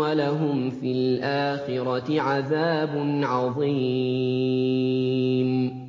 وَلَهُمْ فِي الْآخِرَةِ عَذَابٌ عَظِيمٌ